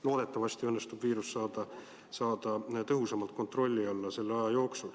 Loodetavasti õnnestub viirus selle aja jooksul tõhusamalt kontrolli alla saada.